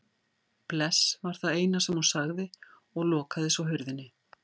Bless var það eina sem hún sagði og lokaði svo hurðinni.